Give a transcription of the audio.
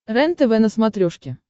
рентв на смотрешке